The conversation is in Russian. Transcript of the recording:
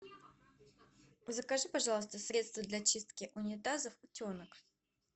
закажи пожалуйста средство для чистки унитазов утенок